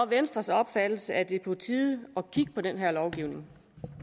venstres opfattelse at det er på tide at kigge på den her lovgivning